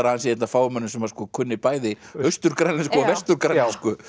að hann sé einn af fáum mönnum sem kunni bæði austur grænlensku og vestur grænlensku